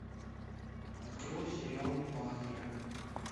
открой сериал падре